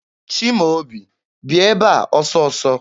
Chimaobi, bịa ebe a ọsọ ọsọ!